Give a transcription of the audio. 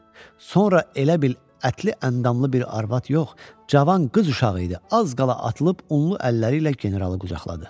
Sonra elə bil ətli-əndamlı bir arvad yox, cavan qız uşağı idi, az qala atılıb unlu əlləri ilə generalı qucaqladı.